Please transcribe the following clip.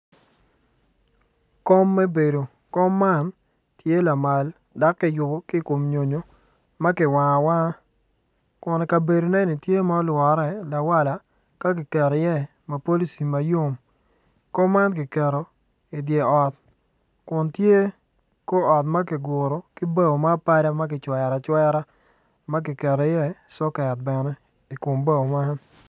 Kom me bedo kom man tye lamal dok kiyubo ki i kom nyonyo ma kiwango awanga kun i kabedoneni tye ma olwore lawala ka kiketo iye mufalici ma yom kom man kiketo i dye ot kun tye kor ot ma kiguru ki bao ma apada ma kicwero acwera ma kiketo iye soket bene i kom bao man.